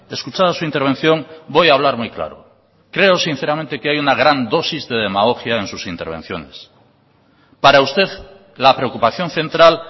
escuchada su intervención voy a hablar muy claro creo sinceramente que hay una gran dosis de demagogia en sus intervenciones para usted la preocupación central